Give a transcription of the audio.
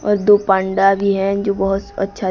और दो पांडा भी हैं जो बहोत अच्छा--